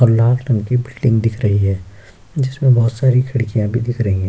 और लाल रंग की बिल्डिंग दिख रही है जिसमें बहुत सारी खिड़कियाँ भी दिख रही है।